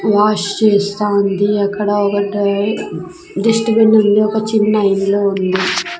Wash చేస్తా ఉంది అక్కడ ఒకటి డస్ట్ బిన్ ఉంది ఒక చిన్న ఇల్లు ఉంది.